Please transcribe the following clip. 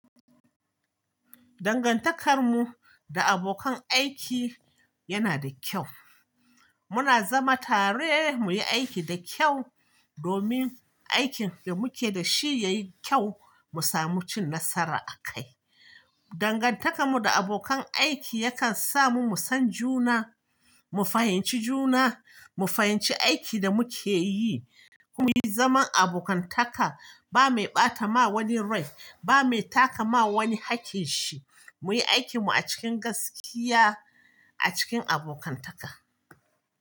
Dangantakarmu da abokan aiki yana da kyau. Muna zama tare muyi aiki da kyau domin aikin da muke da shi yayi kyau mu samu cin nasara a kai. Dangantakarmu da abokan aiki yakan sa mu musan juna, mu fahimci juna, mu fahimci aiki da muke yi. Ko mu yi zaman abokantaka ba mai ɓata ma wani rai ba mai taka ma wani hakkinshi. Muyi aikinmu a cikin gaskiya a cikin abokantaka.